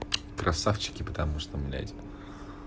красавчики потому что блять